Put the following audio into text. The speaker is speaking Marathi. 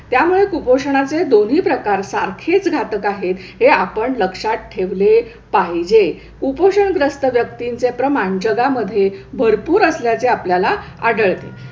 त्यामुळे कुपोषणाचे दोन्ही प्रकार सारखेच घातक आहेत हे आपण लक्षात ठेवले पाहिजे. कुपोषण ग्रस्त व्यक्तींचे प्रमाण जगामध्ये भरपूर असल्याचे आपल्याला आढळते.